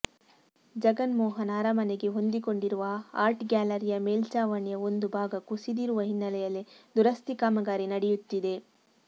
ಜಗನ್ಮೋಹನ ಅರಮನೆಗೆ ಹೊಂದಿಕೊಂಡಿರುವ ಆರ್ಟ್ ಗ್ಯಾಲರಿಯ ಮೇಲ್ಛಾವಣಿಯ ಒಂದು ಭಾಗ ಕುಸಿದಿರುವ ಹಿನ್ನೆಲೆಯಲ್ಲಿ ದುರಸ್ತಿ ಕಾಮಗಾರಿ ನಡೆಯುತ್ತಿದೆ